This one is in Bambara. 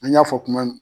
An y'a fɔ kuma min